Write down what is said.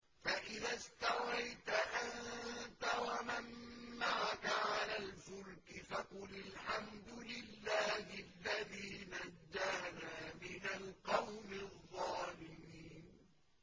فَإِذَا اسْتَوَيْتَ أَنتَ وَمَن مَّعَكَ عَلَى الْفُلْكِ فَقُلِ الْحَمْدُ لِلَّهِ الَّذِي نَجَّانَا مِنَ الْقَوْمِ الظَّالِمِينَ